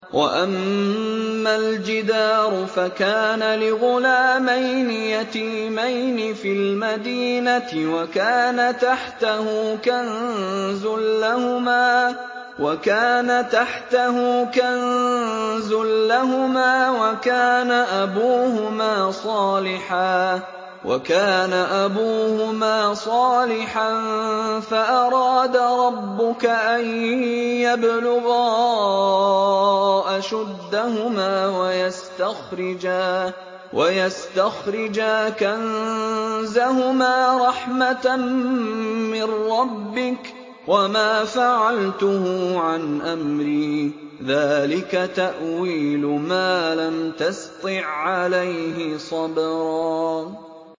وَأَمَّا الْجِدَارُ فَكَانَ لِغُلَامَيْنِ يَتِيمَيْنِ فِي الْمَدِينَةِ وَكَانَ تَحْتَهُ كَنزٌ لَّهُمَا وَكَانَ أَبُوهُمَا صَالِحًا فَأَرَادَ رَبُّكَ أَن يَبْلُغَا أَشُدَّهُمَا وَيَسْتَخْرِجَا كَنزَهُمَا رَحْمَةً مِّن رَّبِّكَ ۚ وَمَا فَعَلْتُهُ عَنْ أَمْرِي ۚ ذَٰلِكَ تَأْوِيلُ مَا لَمْ تَسْطِع عَّلَيْهِ صَبْرًا